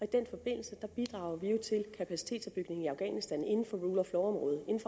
den forbindelse bidrager vi jo til kapacitetsopbygningen i afghanistan inden for rule of